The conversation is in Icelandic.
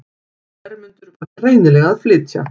Hermundur var greinilega að flytja.